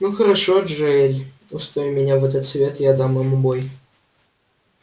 ну хорошо джаэль устрой меня в этот совет и я дам ему бой